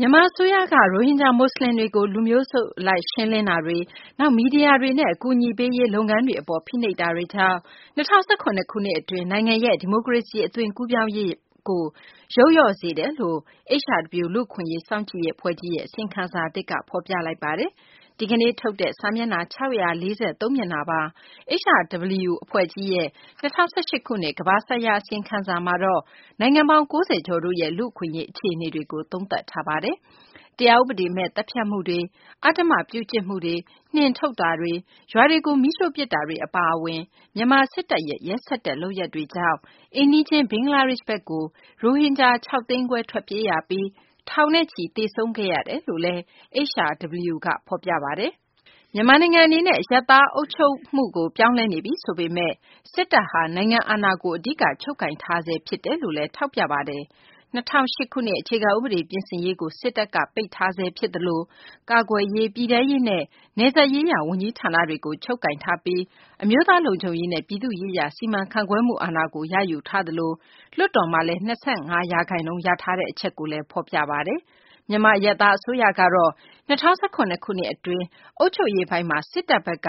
မြန်မာ အစိုးရက ရိုဟင်ဂျာ မူဆလင်တွေကို လူမျိုးစု အလိုက် ရှင်းလင်းမှုတွေ၊ နောက် မီဒီယာတွေနဲ့ အကူအညီပေးရေး လုပ်ငန်းတွေ အပေါ် ဖိနှိပ်မှုတွေကြောင့် ၂၀၁၇ ခုနှစ် အတွင်း နိုင်ငံရဲ့ ဒီမိုကရေစီ အသွင်ကူးပြောင်းရေးမှာ ယုတ်လျော့မှု ဖြစ်စေတယ်လို့ HRW လူ့အခွင့်အရေး စောင့်ကြည့်ရေး အဖွဲ့ကြီးရဲ့ အစီရင်ခံစာသစ်က ဖော်ပြလိုက်ပါတယ်။ ဒီကနေ့ ထုတ်ပြန်တဲ့ စာမျက်နှာ ၆၄၃ မျက်နှာပါ HRW အဖွဲ့ကြီးရဲ့ ၂၀၁၈ ခုနှစ် ကမ္ဘာဆိုင်ရာ အစီရင်ခံစာမှာတော့ နိုင်ငံပေါင်း ၉၀ ကျော်တို့ရဲ့ လူ့အခွင့်အရေး အခြေအနေတွေကို သုံးသပ်ထားတာပါ။ တရားဥပဒေမဲ့ သတ်ဖြတ်မှုတွေ၊ အဓမ္မပြုကျင့်မှုတွေ၊ နှင်ထုတ်တာတွေ၊ ရွာတွေကို မီးရှိုှု့ပစ်တာတွေ အပါအဝင် မြန်မာ စစ်တပ်ရဲ့ ရက်စက်တဲ့ လုပ်ရပ်တွေကြောင့် အိမ်နီးချင်း ဘင်္ဂလားဒေရှ့်ဘက်ကို ရိုဟင်ဂျာ ၆သိန်းခွဲ ထွက်ပြေးရပြီး ထောင်နဲ့ချီ သေဆုံးခဲ့ရတယ်လို့လည်း HRW က ဖော်ပြတာပါ။ မြန်မာနိုင်ငံ အနေနဲ့ အရပ်သား အုပ်ချုပ်မှုကို ပြောင်းလဲနေပြီ ဆိုပေမယ့် စစ်တပ်ဟာ နိုင်ငံအာဏာကို အဓိက ချုပ်ကိုင်ထားဆဲ ဖြစ်တယ်လို့လည်း ထောက်ပြပါတယ်။ ၂၀၀၈ ခုနှစ် အခြေခံ ဥပဒေ ပြင်ဆင်ရေးကို စစ်တပ်က ပိတ်ထားဆဲ ဖြစ်သလို ကာကွယ်ရေး၊ ပြည်ထဲရေးနဲ့ နယ်စပ်ရေးရာ ဝန်ကြီးဌာနတွေကို စစ်တပ်က ချုပ်ကိုင် ထားပြီး အမျိုးသား လုံခြုံရေးနဲ့ ပြည်သူ့ ရေးရာ စီမံခန့်ခွဲမှု အာဏာကို ရယူထားသလို လွှတ်တော်မှာ စစ်တပ်က ၂၅ ရာခိုင်နှုန်း ရထားတဲ့ အချက်ကိုလည်း ဖော်ပြထားပါတယ်။ မြန်မာ အရပ်သား အစိုးရကတော့ ၂၀၁၇ ခုနှစ် အတွင်း အုပ်ချုပ်ရေးပိုင်းမှာ စစ်တပ်ဘက်က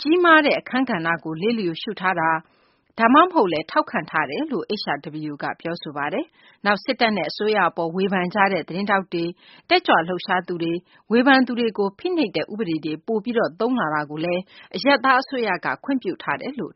ကြီးမားတဲ့ အခန်းကဏ္ဍကို လစ်လျူရှုထားတာ ဒါမှမဟုတ်လည်း ထောက်ခံထားတယ်လို့ HRW က ပြောဆိုပါတယ်။ နောက် စစ်တပ်နဲ့ အစိုးရ အပေါ် ဝေဖန်ကြတဲ့ သတင်းထောက်တွေ၊ တက်ကြွ လှုပ်ရှားသူတွေ၊ ဝေဖန်သူတွေကို ဖိနှိပ်တဲ့ ဥပဒေတွေ ပိုပြီး သုံးလာတာကိုလည်း အရပ်သား အစိုးရက ခွင့်ပြုထားတယ်လို့